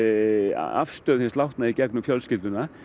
afstöðu hins látna í gegnum fjölskylduna